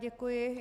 Děkuji.